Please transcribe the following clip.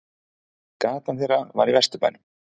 Gatan þeirra var í Vesturbænum.